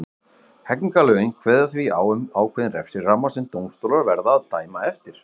Hegningarlögin kveða því á um ákveðinn refsiramma sem dómstólar verða að dæma eftir.